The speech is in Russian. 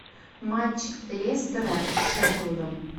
матч лестера с шеффилдом